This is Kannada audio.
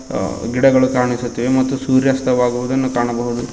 ಗಿಡಗಳು ಕಾಣಿಸುತ್ತಿವೆ ಮತ್ತು ಸೂರ್ಯಾಸ್ತ ವಗುನುದನ್ನ ಕಾಣಬಹುದು.